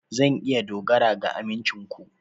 Zan iya dogara ga amincin ku?